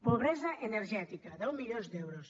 pobresa energètica deu milions d’euros